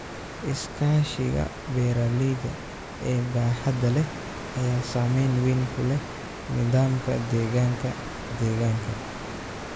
Iskaashiga beeralayda ee baaxadda leh ayaa saamayn wayn ku leh nidaamka deegaanka deegaanka.